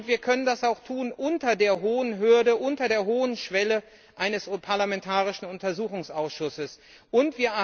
Wir können das auch unter der hohen Hürde, unter der hohen Schwelle eines parlamentarischen Untersuchungsausschusses tun.